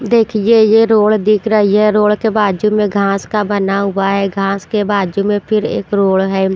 देखिए ये रोड़ दिख रही है रोड़ के बाजू में घास का बना हुआ है घास के बाजू में फिर एक रोड़ है।